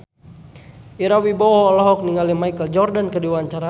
Ira Wibowo olohok ningali Michael Jordan keur diwawancara